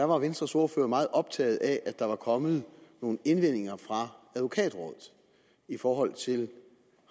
var venstres ordfører meget optaget af at der var kommet nogle indvendinger fra advokatrådet i forhold til